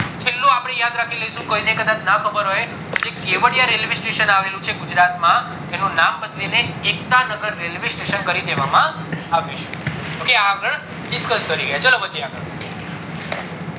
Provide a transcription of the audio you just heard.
છેલ્લું આપડે યાદ રાખી લેશું કીઓને કદાચ ના ખબર હોય કે જે કેવાદિયે railway station આવે લુ છે ગુજરાત માં એનું નામ બદલીને એકતા નગર railway station કરી દેવામાં આવ્યું છે ok આગળ discuss કરી ગયા